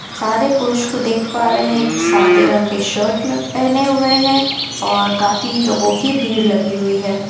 सारे पुरुष को देख पा रहे हैं कि सादे रंग के शर्ट में पहने हुए हैं और काफी लोगों की भीड़ लगी हुई है|